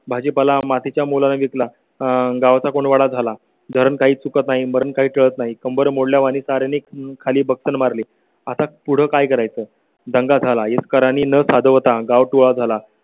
भाजीपाला मातीच्या मोलाने विकला. गावचा कोंडवाडा झाला. धरण काही चुकत नाही मरण काही टळत नाही. कंबर मोडल्यावानी सारे खाली मारली आता पुढे काय करायचं दंगा झाला आहे कर आणि न साध ता गाँव झाला.